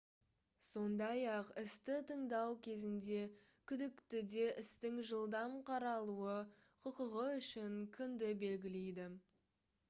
сондай-ақ істі тыңдау кезінде күдіктіде істің жылдам қаралуы құқығы үшін күнді белгілейді